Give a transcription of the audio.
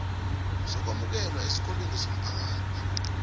sokwemukelwa esikolweni somphakathi